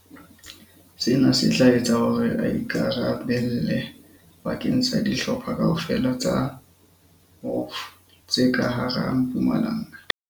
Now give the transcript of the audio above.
Sena se tla etsa hore a ikara belle bakeng sa dihlopha kaofela tsa WOF tse ka hara Mpumalanga.